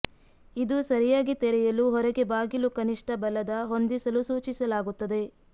ಇದು ಸರಿಯಾಗಿ ತೆರೆಯಲು ಹೊರಗೆ ಬಾಗಿಲು ಕನಿಷ್ಠ ಬಲದ ಹೊಂದಿಸಲು ಸೂಚಿಸಲಾಗುತ್ತದೆ